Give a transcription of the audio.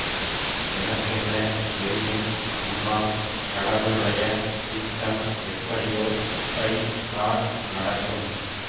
எனக்கென்ன தெரியும் அம்மா கடவு ளுடைய சித்தம் எப்படியோ அப்படி தான் நடக்கும்